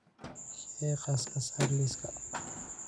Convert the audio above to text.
Shaygaas ka saar liiska